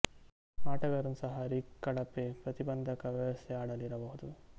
ಆಟಗಾರನು ಸಹ ರಿಗ್ ಕಳಪೆ ಪ್ರತಿಬಂಧಕ ವ್ಯವಸ್ಥೆ ಆಡಲು ಇರಬಹುದು